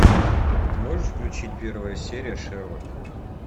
ты можешь включить первая серия шерлок